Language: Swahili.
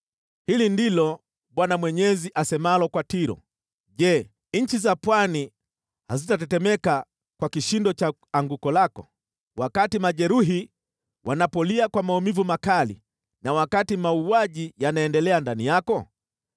“Hili ndilo Bwana Mwenyezi asemalo kwa Tiro: ‘Je, nchi za pwani hazitatetemeka kwa kishindo cha anguko lako, wakati majeruhi wanapolia kwa maumivu makali na wakati mauaji yanaendelea ndani yako?